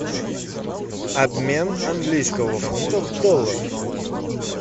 обмен английского фунта в долларах